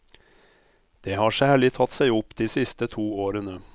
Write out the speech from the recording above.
Det har særlig tatt seg opp de siste to årene.